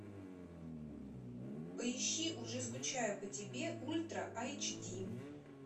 поищи уже скучаю по тебе ультра айч ди